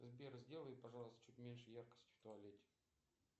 сбер сделай пожалуйста чуть меньше яркость в туалете